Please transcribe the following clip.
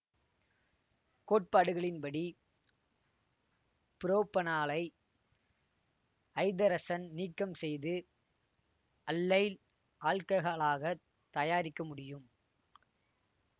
கோட்பாடுகளின்படி புரோப்பனாலை ஐதரசன் நீக்கம் செய்து அல்லைல் ஆல்ககாலகாத் தயாரிக்க முடியும்